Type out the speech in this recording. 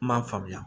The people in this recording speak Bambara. N m'a faamuya